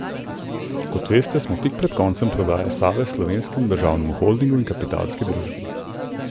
Kot veste, smo tik pred koncem prodaje Save Slovenskemu državnemu holdingu in Kapitalski družbi.